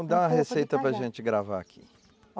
Então dá uma receita para gente gravar aqui.